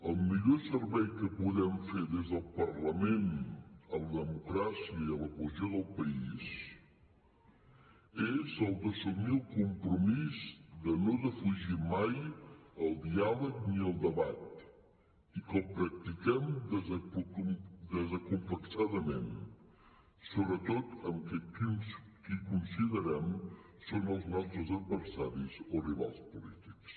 el millor servei que podem fer des del parlament a la democràcia i a la cohesió del país és el d’assumir el compromís de no defugir mai el diàleg ni el debat i que el practiquem desacomplexadament sobretot amb qui considerem que són els nostres adversaris o rivals polítics